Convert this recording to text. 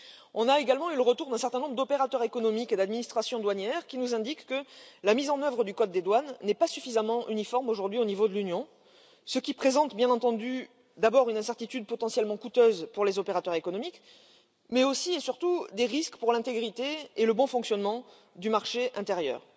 On a également eu le retour d'un certain nombre d'opérateurs économiques et d'administrations douanières, qui nous indiquent que la mise en œuvre du code des douanes n'est pas suffisamment uniforme aujourd'hui au niveau de l'Union, ce qui entraîne bien entendu, d'abord, une incertitude potentiellement coûteuse pour les opérateurs économiques, mais aussi et surtout des risques pour l'intégrité et le bon fonctionnement du marché intérieur.